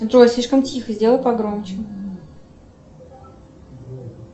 джой слишком тихо сделай погромче